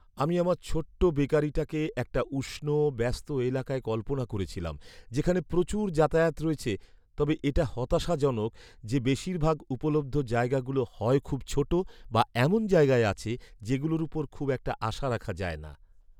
আমি আমার ছোট্ট বেকারিটাকে একটা উষ্ণ, ব্যস্ত এলাকায় কল্পনা করেছিলাম যেখানে প্রচুর যাতায়াত রয়েছে, তবে এটা হতাশাজনক যে বেশিরভাগ উপলব্ধ জায়গাগুলো হয় খুব ছোট বা এমন জায়গায় আছে যেগুলোর উপর খুব একটা আশা রাখা যায় না।